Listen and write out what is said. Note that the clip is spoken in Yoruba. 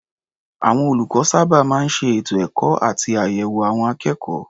Àwọn olùkọ́ sábà máa ń ṣe ètò ẹ̀kọ́ àti àyẹ̀wò àwọn akékọ̀ọ́.